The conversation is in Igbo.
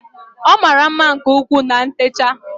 Ọ mara mma nke ukwuu na ntecha